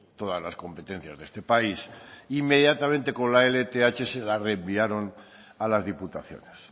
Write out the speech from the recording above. lamina todas las competencias de este país inmediatamente con la lth se la reenviaron a las